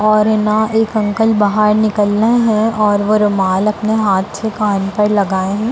और हैं ना एक अंकल बाहर हैं और वो रुमाल अपने हाथ से कान पर लगाए हैं।